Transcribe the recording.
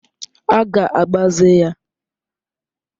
A ga-agbaze ya.